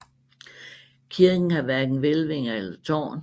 Kirken har hverken hvælvinger eller tårn